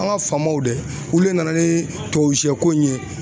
An ka faamaw dɛ, olu de nana ni tubabu sɛ ko in ye